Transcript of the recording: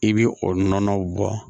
I bɛ o nɔnɔw bɔ